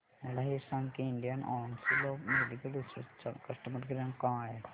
मला हे सांग की Indian Council of Medical Research चा कस्टमर केअर क्रमांक काय आहे